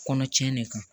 Kɔnɔ cɛn de kan